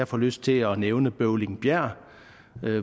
får lyst til at nævne bøvlingbjerg